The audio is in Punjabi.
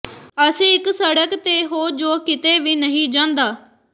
ਅਸੀਂ ਇਕ ਸੜਕ ਤੇ ਹੋ ਜੋ ਕਿਤੇ ਵੀ ਨਹੀਂ ਜਾਂਦਾ